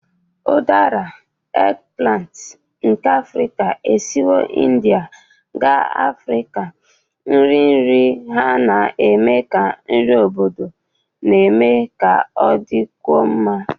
Udaras, eggplant nke Africa, esiwo India gaa Africa, nri nri ha na-eme ka nri obodo na-eme ka ọ dịkwuo mma.